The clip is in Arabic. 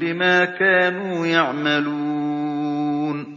بِمَا كَانُوا يَعْمَلُونَ